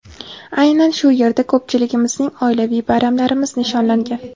Aynan shu yerda ko‘pchiligimizning oilaviy bayramlarimiz nishonlangan.